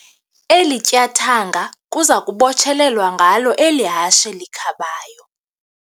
Eli tyathanga kuza kubotshelelwa ngalo eli hashe likhabayo.